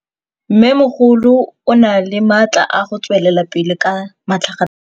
Mmêmogolo o na le matla a go tswelela pele ka matlhagatlhaga.